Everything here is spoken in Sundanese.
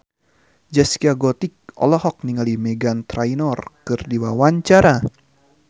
Zaskia Gotik olohok ningali Meghan Trainor keur diwawancara